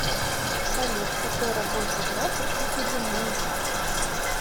салют какой рабочий график у дудиной